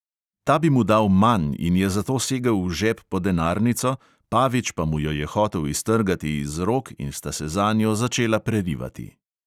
Ta bi mu dal manj in je zato segel v žep po denarnico, pavič pa mu jo je hotel iztrgati iz rok in sta se zanjo začela prerivati.